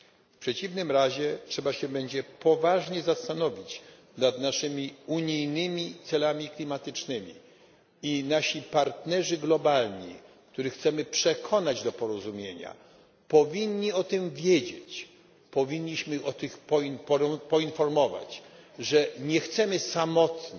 W przeciwnym razie trzeba się będzie poważnie zastanowić nad naszymi unijnymi celami klimatycznymi i nasi partnerzy globalni, których chcemy przekonać do porozumienia, powinni o tym wiedzieć powinniśmy o tym poinformować, że nie chcemy samotnie